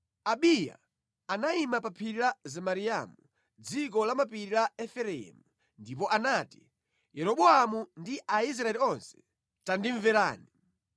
Abiya anayima pa phiri la Zemaraimu, mʼdziko lamapiri la Efereimu, ndipo anati, “Yeroboamu ndi Aisraeli onse, tandimverani!